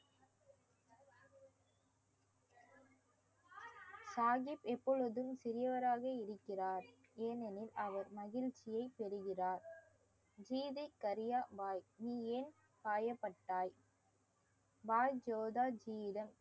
சாகிப் எப்பொழுதும் சிறியவராக இருக்கிறார் ஏனெனில் அவர் மகிழ்ச்சியை பெறுகிறார் கீதை கரியா பாய் நீ ஏன் காயப்பட்டாய் பாய் ஜோதா ஜீயிடம்